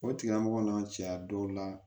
O tigilamɔgɔ n'an cɛya dɔw la